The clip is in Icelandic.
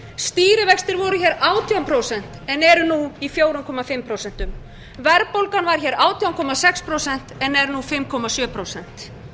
stýrivextir voru átján prósent en eru nú í fjögur og hálft prósent verðbólgan var átján komma sex prósent en er nú fimm komma sjö prósent